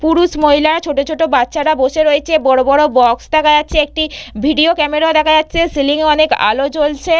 পুরুষ মহিলা ছোট ছোট বাচ্চারা বসে রয়েছে বড় বড় বক্স দেখা যাচ্ছে একটি ভিডিও ক্যামেরা দেখা যাচ্ছে সিলিং এ অনেক আলো জ্বলছে।